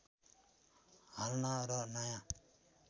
हाल्न र नयाँ